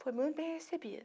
Foi muito bem recebida.